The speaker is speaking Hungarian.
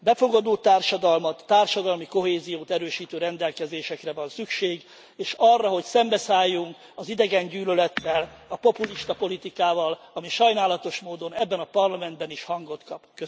Befogadó társadalmat, társadalmi kohéziót erősítő rendelkezésekre van szükség, és arra, hogy szembeszálljunk az idegengyűlölettel, a populista politikával, ami sajnálatos módon ebben a Parlamentben is hangot kap.